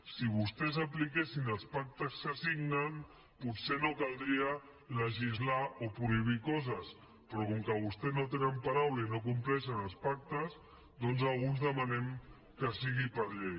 si vostès apliquessin els pactes que signen potser no caldria legislar o prohibir coses però com que vostès no tenen paraula i no compleixen els pactes doncs alguns demanem que sigui per llei